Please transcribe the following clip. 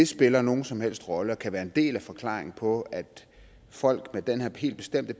spiller nogen som helst rolle og kan være en del af forklaringen på at folk med den her helt bestemte